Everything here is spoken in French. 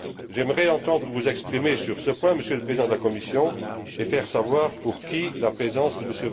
J'aimerais vous entendre vous exprimer sur ce point, Monsieur le Président de la Commission, et indiquer pour qui la présence de M.